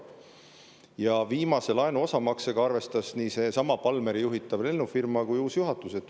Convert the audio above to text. Ja viimase laenu osamaksega arvestas nii Palméri juhitav lennufirma kui ka uus juhatus.